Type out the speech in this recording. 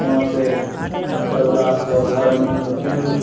वहां से तबला सब हारमुनियम सब किनलो।